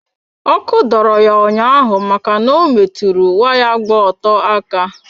Òkù dọrọ ya ụnyaahụ ma na ọ metụrụ waya gba ọtọ aka.